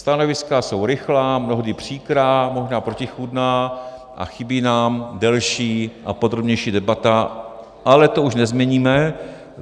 Stanoviska jsou rychlá, mnohdy příkrá, možná protichůdná a chybí nám delší a podrobnější debata, ale to už nezměníme.